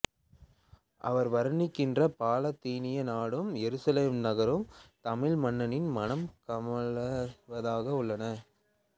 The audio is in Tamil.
அவர் வருணிக்கின்ற பாலத்தீன நாடும் எருசலேம் நகரும் தமிழ் மண்ணின் மணம் கமழ்வதாகவே உள்ளன